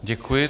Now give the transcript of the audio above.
Děkuji.